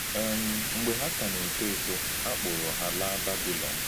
um Mgbe hà kà na-ètò étò, a kpụrụ̀ hà làá Babịlọn.